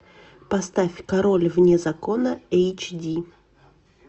поставь король вне закона эйч ди